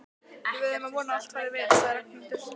Við verðum að vona að allt fari vel sagði Ragnhildur.